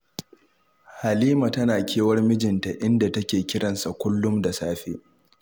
Halima tana kewar mijinta, inda take kiran sa kullum da safe